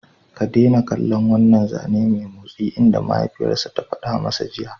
Ka daina kallon wannan zane mai motsi!" inda mahaifiyarsa ta fada masa jiya!